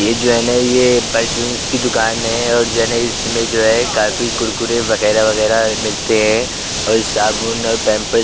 ये जो है न ये परचून्स की दुकान है और जो न है इसमें जो है काफी कुरकुरे वगैरा-वगैरा मिलते हैं और साबुन और पैम्प --